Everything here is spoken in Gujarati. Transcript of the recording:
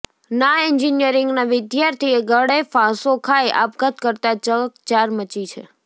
ના એન્જિનિયરિંગના વિદ્યાર્થીએ ગળેફાંસો ખાઈ આપઘાત કરતાં ચકચાર મચી છે